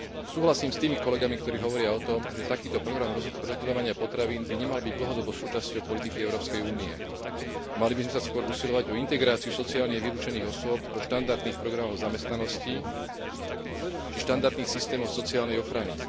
Súhlasím s tými kolegami, ktorí hovoria o tom, že takýto program rozdeľovania potravín by nemal byť dlhodobo súčasťou politiky Európskej únie a mali by sme sa skôr usilovať o integráciu sociálne vylúčených osôb do štandardných programov zamestnanosti či štandardných systémov sociálnej ochrany.